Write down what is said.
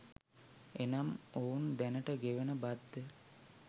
එනම් ඔවුන් දැනට ගෙවන බද්ද